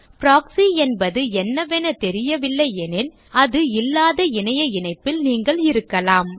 proxy என்பது என்னவென தெரியவில்லையெனில் அது இல்லாத இணைய இணைப்பில் நீங்கள் இருக்கலாம்